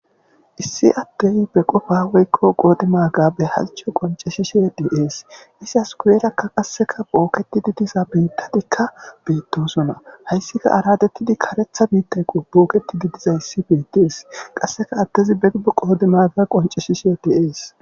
Issi attey beqofa weykko qoodi maaga behalcho qonceshishe deees isi askuweerakka qasseka booketidi diza biittadikka beettosona hayssika aradettidi karetha biittay qo booketidi dizay issi beedees qasseka attezi begu qoodi maaga qonceshishe deees.